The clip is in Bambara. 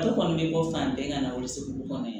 Dɔ kɔni bɛ bɔ fan bɛɛ ka na o segu kɔnɔ